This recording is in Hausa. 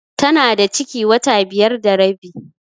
Tana da ciki wata biyar da rabi.